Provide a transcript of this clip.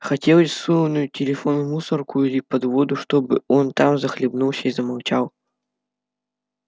хотелось сунуть телефон в мусорку или под воду чтобы он там захлебнулся и замолчал